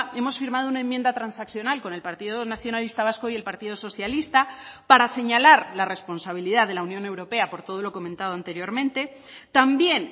hemos firmado una enmienda transaccional con el partido nacionalista vasco y el partido socialista para señalar la responsabilidad de la unión europea por todo lo comentado anteriormente también